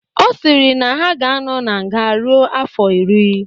Ọ sịrị na ha ga-anọ na nga ruo afọ iri.